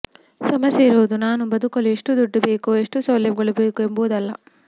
ಸಮಸ್ಯೆಯಿರುವುದು ನಾನು ಬದುಕಲು ಎಷ್ಟು ದುಡ್ಡು ಬೇಕು ಎಷ್ಟು ಸೌಲಭ್ಯಗಳು ಬೇಕು ಎಂಬುದಲ್ಲ